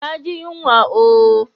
Na ji yanwa ooo.